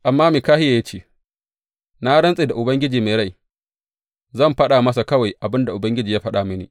Amma Mikahiya ya ce, Na rantse da Ubangiji mai rai, zan faɗa masa kawai abin da Ubangiji ya faɗa mini.